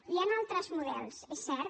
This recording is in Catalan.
hi han altres models és cert